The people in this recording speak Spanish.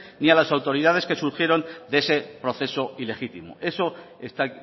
ni a las autoridades que surgieron de ese proceso ilegítimo eso está